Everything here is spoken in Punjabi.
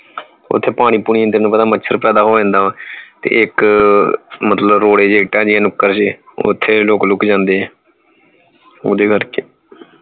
ਓਥੇ ਪਾਣੀ ਪੁਨੀ ਤੈਨੂੰ ਪਤਾ ਹੈ ਮੱਛਰ ਪੈਦਾ ਹੋ ਜਾਂਦਾਗਾ ਤੇ ਇਕ ਮਤਲਬ ਰੋਡੇ ਜੇ ਇਟਾ ਜੀ ਹੈ ਨੁਕੜ ਤੇ ਓਥੇ ਲੁਕ ਲੁਕ ਜਾਂਦੇ ਹੈ ਓਹਦੇ ਕਰਕੇ